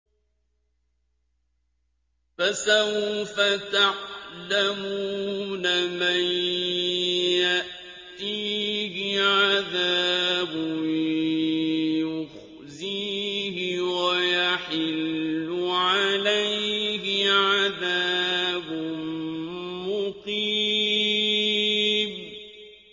فَسَوْفَ تَعْلَمُونَ مَن يَأْتِيهِ عَذَابٌ يُخْزِيهِ وَيَحِلُّ عَلَيْهِ عَذَابٌ مُّقِيمٌ